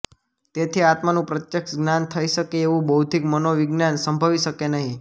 તેથી આત્માનું પ્રત્યક્ષ જ્ઞાન થઈ શકે એવું બૌદ્ધિક મનોવિજ્ઞાન સંભવી શકે નહિ